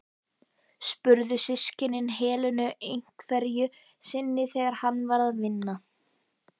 spurðu systkinin Helenu einhverju sinni þegar hann var að vinna.